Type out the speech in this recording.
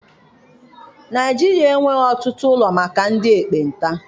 Naịjirịa enweghị ọtụtụ ụlọ maka ndị ekpenta.